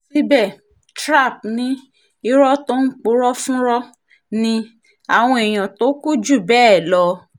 síbẹ̀ dj trap ni irọ́ tó ń purọ́ fúnrọ́ ni àwọn èèyàn tó kù jù bẹ́ẹ̀ lọ